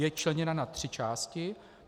Je členěna na tři části.